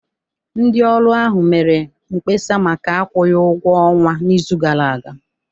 Ndị ọrụ ahụ mere mkpesa maka akwụghị ụgwọ ọnwa n'izu gara aga